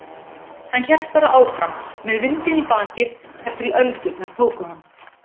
Hélt bara áfram, með vindinn í bakið, þar til öldurnar tóku hann.